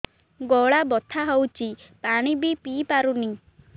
ଗଳା ବଥା ହଉଚି ପାଣି ବି ପିଇ ପାରୁନି